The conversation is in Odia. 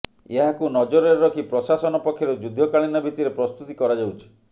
ଏହାକୁ ନଜରରେ ରଖି ପ୍ରଶାସନ ପକ୍ଷରୁ ଯୁଦ୍ଧକାଳୀନ ଭିତ୍ତିରେ ପ୍ରସ୍ତୁତି କରାଯାଉଛି